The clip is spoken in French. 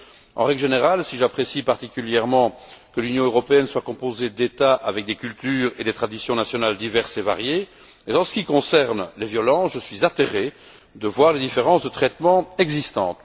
En règle générale, si j'apprécie particulièrement que l'Union européenne soit composée d'États avec des cultures et des traditions nationales diverses et variées, en ce qui concerne les violences, je suis atterré de voir les différences de traitement existantes.